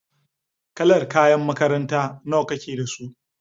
Kalar kayan makaranta nawa kake da su?